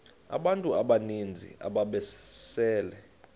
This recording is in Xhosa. abantu abaninzi ababesele